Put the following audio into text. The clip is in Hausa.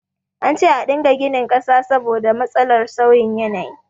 An ce a dinga ginin ƙasa saboda matsalar sauyin yanayi